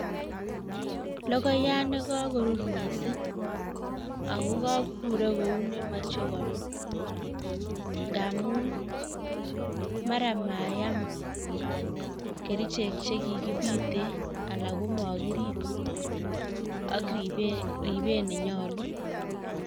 Logoyat nekakorur miising' akokakurok kou nemeche konun ngaamun mara mayam kerichek chekikibite ana komakirib ak ribeet nenyolu